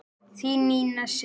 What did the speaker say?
Þín Nína Sif.